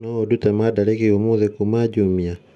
no ũndute mandarĩki ũmũthĩ kuma Jumia